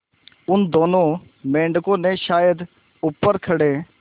उन दोनों मेढकों ने शायद ऊपर खड़े